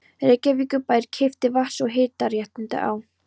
Reykjavíkurbær keypti vatns- og hitaréttindi á